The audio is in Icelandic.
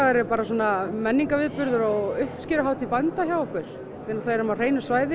eru menningarviðburður og uppskeruhátið bænda hjá okkur við erum á hreinu svæði